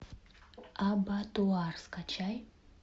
абатуар скачай